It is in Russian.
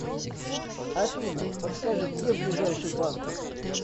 афина подскажи где ближайший банк